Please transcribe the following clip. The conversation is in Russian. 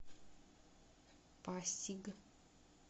пасиг